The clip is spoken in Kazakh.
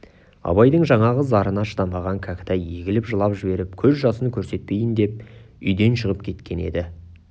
абайдың жаңағы зарына шыдамаған кәкітай егіліп жылап жіберіп көз жасын көрсетпейін деп үйден шығып кеткен еді